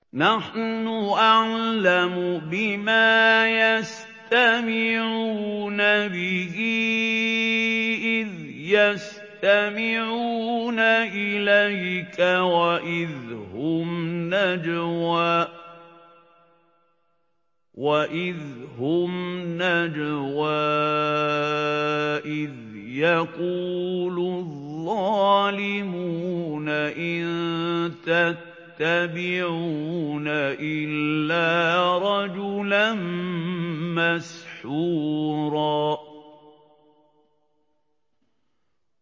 نَّحْنُ أَعْلَمُ بِمَا يَسْتَمِعُونَ بِهِ إِذْ يَسْتَمِعُونَ إِلَيْكَ وَإِذْ هُمْ نَجْوَىٰ إِذْ يَقُولُ الظَّالِمُونَ إِن تَتَّبِعُونَ إِلَّا رَجُلًا مَّسْحُورًا